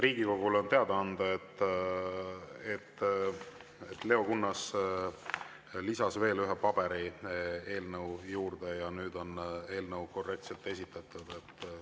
Riigikogule on teada anda, et Leo Kunnas lisas veel ühe paberi eelnõu juurde ja nüüd on eelnõu korrektselt esitatud.